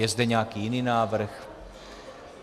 Je zde nějaký jiný návrh?